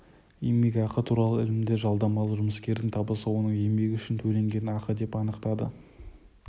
еңбекақы туралы ілімінде жалдамалы жұмыскердің табысы оның еңбегі үшін төленген ақы деп анықтады